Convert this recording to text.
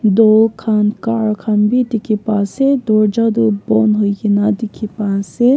doll khan car khan b dikhi pai ase dorja doh bon huigina dikhi pai ase.